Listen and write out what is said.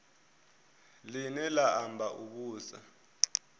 line la amba u vhusa